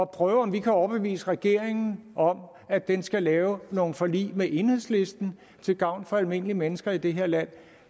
prøve om vi kan overbevise regeringen om at den skal lave nogle forlig med enhedslisten til gavn for almindelige mennesker i det her land